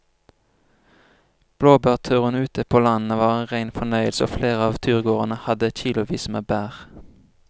Blåbærturen ute på landet var en rein fornøyelse og flere av turgåerene hadde kilosvis med bær.